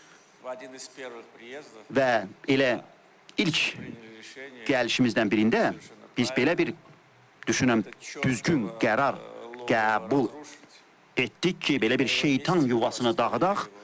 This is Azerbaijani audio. Və elə ilk gəlişimizdən birində biz belə bir, düşünürəm, düzgün qərar qəbul etdik ki, belə bir şeytan yuvasını dağıdaq.